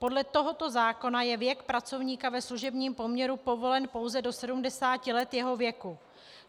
Podle tohoto zákona je věk pracovníka ve služebním poměru povolen pouze do 70 let jeho věku.